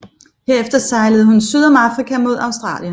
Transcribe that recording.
Herefter sejlede hun syd om Afrika mod Australien